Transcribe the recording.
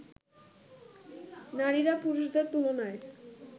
নারীরা পুরুষদের তুলনায়